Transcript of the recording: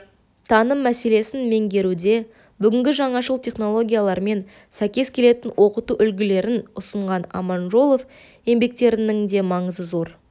таным мәселесін меңгеруде бүгінгі жаңашыл технологиялармен сәйкес келетін оқыту үлгілерін ұсынған аманжолов еңбектірінің де маңызы зор